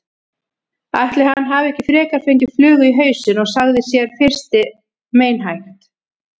Ætli hann hafi ekki frekar fengið flugu í hausinn sagði sá fyrsti meinhægt.